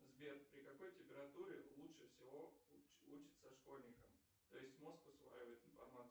сбер при какой температуре лучше всего учится школьникам то есть мозг усваивает информацию